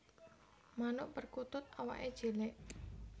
Manuk perkutut awaké cilik